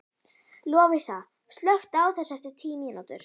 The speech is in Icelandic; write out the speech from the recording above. Lovísa, slökktu á þessu eftir tíu mínútur.